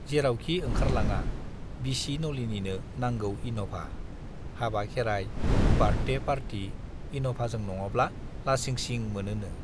जेरावखि ओंखारलाङा बिसि नलिनीनो नांगौ इन'भा, हाबा-खेराइ, बार्थडे पार्टि इन'भाजों नङाब्ला लासिंसिं मोनोनो।